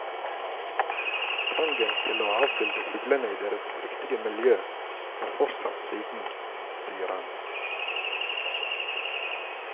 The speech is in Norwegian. Trangen til å avbilde fuglene i deres riktige miljø har fortsatt siden, sier han.